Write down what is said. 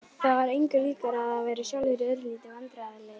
Það var engu líkara en þeir væru sjálfir örlítið vandræðalegir.